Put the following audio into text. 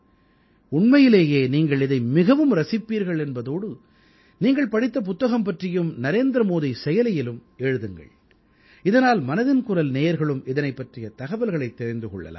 உண்மையிலேயே நீங்கள் இதை மிகவும் ரசிப்பீர்கள் என்பதோடு நீங்கள் படித்த புத்தகம் பற்றியும் நரேந்திரமோடி செயலியிலும் எழுதுங்கள் இதனால் மனதின் குரல் நேயர்களும் இதனைப் பற்றிய தகவல்களைத் தெரிந்து கொள்ளலாம்